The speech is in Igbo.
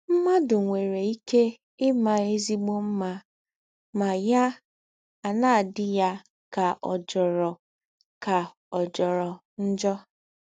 “ Mmadụ nwere ike ịma ezịgbọ mma ma ya ana - adị ya ka ọ̀ jọrọ ka ọ̀ jọrọ njọ.